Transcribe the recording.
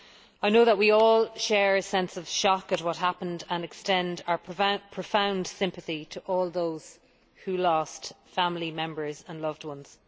I know that we all share a sense of shock at what happened and extend our profound sympathy to all those who lost family members and loved ones.